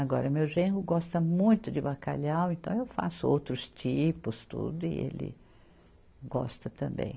Agora, meu genro gosta muito de bacalhau, então eu faço outros tipos, tudo, e ele gosta também.